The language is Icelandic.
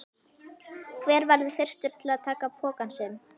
Hver verður fyrstur til að taka pokann sinn?